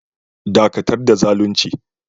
Dakatar da zalunci!